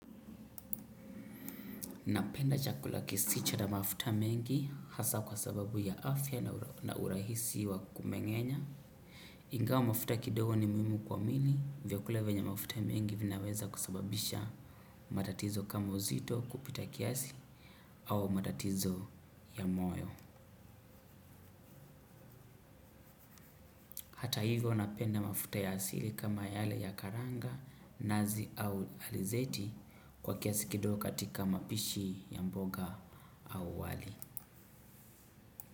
Napenda chakula kisicho na mafuta mengi hasa kwa sababu ya afya na urahisi wa kumeng'enya. Ingawa mafuta kidogo ni muhimu kwa mwili vya kula venye mafuta mengi vinaweza kusababisha matatizo kama uzito kupita kiasi au matatizo ya moyo. Hata hivyo napenda mafuta ya asili kama yale ya karanga, nazi au alizeti kwa kiasi kidogo katika mapishi ya mboga au wali.